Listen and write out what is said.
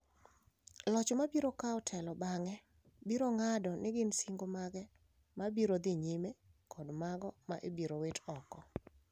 Loch ma biro kawo telo bang’e biro ng’ado ni gin singo mage ma biro dhi nyime kod mago ma ibiro wit oko.